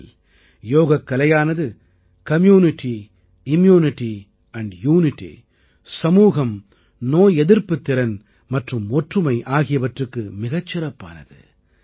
உண்மையில் யோகக்கலையானது community immunity and unity சமூகம் நோய் எதிர்ப்புத்திறன் மற்றும் ஒற்றுமை ஆகியவற்றுக்கு மிகச் சிறப்பானது